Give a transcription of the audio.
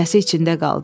Səsi içində qaldı.